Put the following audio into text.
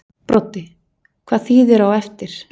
Broddi: Hvað þýðir á eftir?